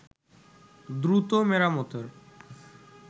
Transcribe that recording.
দ্রুত মেরামতের